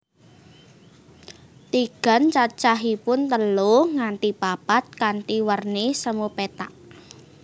Tigan cacahipun telu nganti papat kanthi werni semu pethak